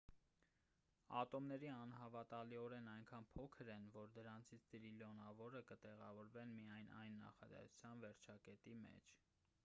ատոմներն անհավատալիորեն այնքան փոքր են որ դրանցից տրիլիոնավորը կտեղավորվեն միայն այս նախադասության վերջակետի մեջ